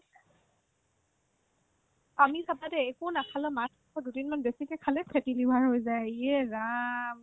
আমি চাবা দেই একো নাখালেও মাত্ৰ দুদিনমান বেছিকে খালে fatty liver হৈ যায় ইএ ৰাম